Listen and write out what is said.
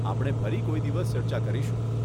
આપણે ફરી કોઈદિવસ ચર્ચા કરીશું.